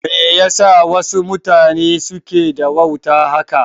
Me yasa wasu mutanen suke da wauta haka?